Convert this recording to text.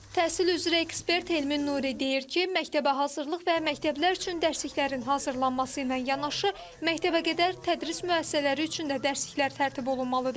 Təhsil üzrə ekspert Elmin Nuri deyir ki, məktəbəhazırlıq və məktəblər üçün dərsliklərin hazırlanması ilə yanaşı, məktəbəqədər tədris müəssisələri üçün də dərsliklər tərtib olunmalıdır.